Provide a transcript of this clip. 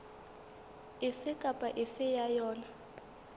efe kapa efe ya yona